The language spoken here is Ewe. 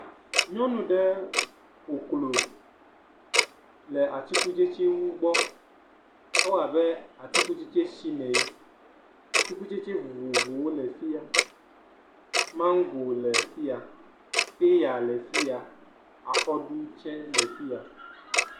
Nyɔnu aɖe ƒoklo le atikutsɛtsɛ wo gbɔ, ewɔ abe tsi le atikutsɛtsɛ si le. Atikutsɛtsɛ vovovowo le afi ya, mango le fiya, paya le afi ya, akɔɖu tsɛ le afi ya.